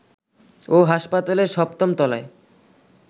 ও হাসপাতালের সপ্তম তলায়